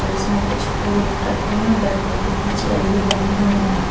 और इसमें कुछ फूल रखे हुए हैं बैठने के लिए चेयर भी लगी हुई हैं।